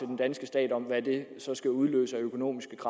den danske stat om hvad det så skal udløse af økonomisk